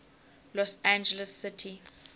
los angeles city